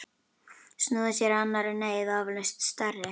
Snúið sér að annarri neyð, vafalaust stærri.